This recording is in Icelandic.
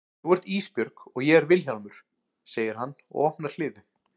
Þú ert Ísbjörg og ég er Vilhjálmur, segir hann og opnar hliðið.